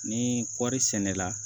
Ni kɔɔri sɛnɛ la